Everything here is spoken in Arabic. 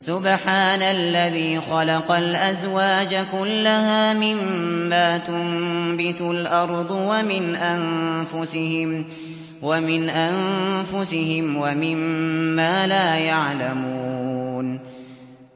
سُبْحَانَ الَّذِي خَلَقَ الْأَزْوَاجَ كُلَّهَا مِمَّا تُنبِتُ الْأَرْضُ وَمِنْ أَنفُسِهِمْ وَمِمَّا لَا يَعْلَمُونَ